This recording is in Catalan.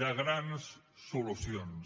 grans solucions